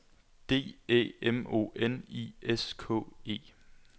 D Æ M O N I S K E